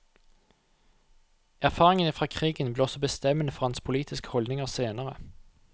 Erfaringene fra krigen ble også bestemmende for hans politiske holdninger senere.